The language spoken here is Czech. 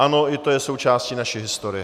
Ano, i to je součástí naší historie.